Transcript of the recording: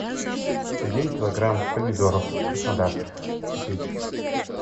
один килограмм помидоров краснодарских купить